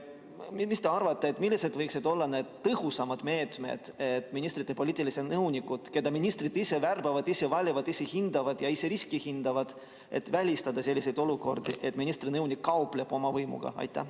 Ja mis te arvate, millised võiksid olla tõhusamad meetmed, et ministrite poliitiliste nõunike puhul, keda ministrid ise värbavad, ise valivad, kelle riski ise hindavad, välistada olukordi, et ministri nõunik kaupleb oma võimuga?